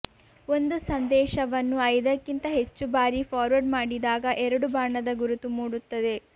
ಒಂದು ಸಂದೇಶವನ್ನು ಐದಕ್ಕಿಂತ ಹೆಚ್ಚು ಬಾರಿ ಫಾರ್ವರ್ಡ್ ಮಾಡಿದಾಗ ಎರಡು ಬಾಣದ ಗುರುತು ಮೂಡುತ್ತದೆ